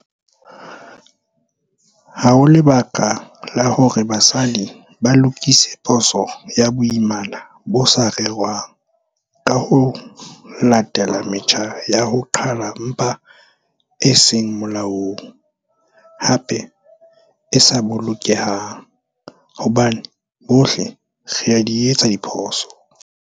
Ha ho lebaka la hore basadi ba lokise phoso ya boimana bo sa rerwang ka ho latela metjha ya ho qhala mpha e seng molaong, hape e sa bolokehang, hobane bohle re a di etsa diphoso.